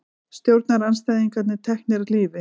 Stjórnarandstæðingar teknir af lífi